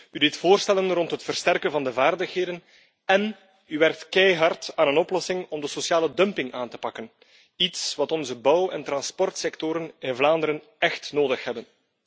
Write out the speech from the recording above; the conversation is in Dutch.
U deed voorstellen rond het versterken van de vaardigheden en u werkt keihard aan een oplossing om de sociale dumping aan te pakken, iets wat onze bouw en transportsectoren in Vlaanderen echt nodig hebben.